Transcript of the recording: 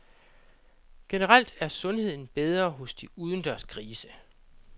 Generelt er sundheden bedre hos de udendørs grise.